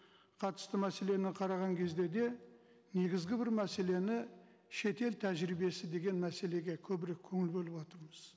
қатысты мәселені қараған кезде де негізгі бір мәселені шетел тәжірибесі деген мәселеге көбірек көңіл бөліватырмыз